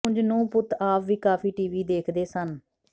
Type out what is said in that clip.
ਉਂਜ ਨੂੰਹ ਪੁੱਤ ਆਪ ਵੀ ਕਾਫੀ ਟੀਵੀ ਦੇਖਦੇ ਸਨ